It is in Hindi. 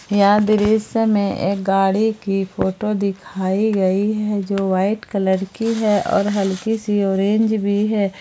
यह दृश्य में एक गाड़ी की फोटो दिखाई गई है जो व्हाइट कलर की है और हल्की सी ऑरेंज भी है।